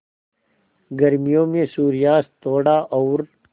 गर्मियों में सूर्यास्त थोड़ा और